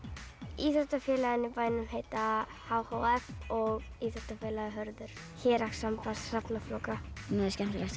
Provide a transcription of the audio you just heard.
íþróttafélögin í bænum heita h h f og íþróttafélagið Hörður héraðssamband hrafna flóka mér finnst skemmtilegast í